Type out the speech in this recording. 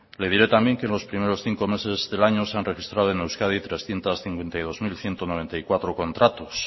le diré también que los primeros cinco meses del año se han registrado en euskadi trescientos cincuenta y dos mil ciento noventa y cuatro contratos